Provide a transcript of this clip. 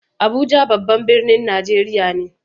Abuja babban birnin Najeriya ne.